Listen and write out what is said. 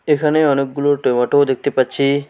এখানে অনেকগুলো টমেটো দেখতে পাচ্ছি।